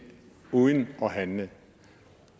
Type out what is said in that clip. uden at handle